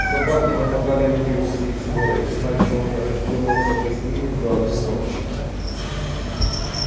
собаки нападали на него всей сворой иначе он разделался бы с ними за одну ночь